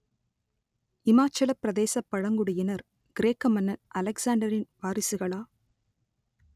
இமாச்சலப் பிரதேசப் பழங்குடியினர் கிரேக்க மன்னன் அலெக்சாண்டரின் வாரிசுகளா?